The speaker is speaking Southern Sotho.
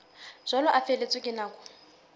jwalo a feletswe ke nako